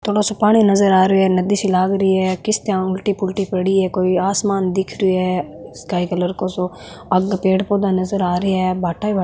थोड़ा सो पानी नजर आ रियो है नदी सी लाग री है किस्तैया उलटी फुलटि पड़ी है कोई आसमान दिख रियो है स्काई कलर को सो आगे पेड़ पौधो नजर आ रिया है भाटा ही भाटा --